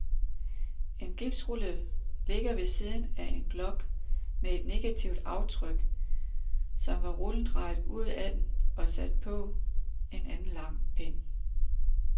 En gipsrulle ligger ved siden af en blok med et negativt aftryk, som var rullen drejet ud af den og sat på en lang pind.